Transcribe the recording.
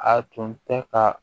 A tun tɛ ka